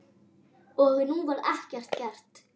Og nú var ekkert gert.